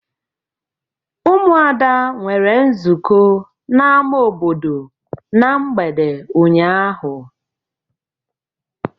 Ụmụada nwere nzukọ n'ama obodo na mgbede ụnyaahụ.